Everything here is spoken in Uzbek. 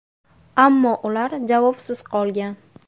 Ammo ular javobsiz qolgan.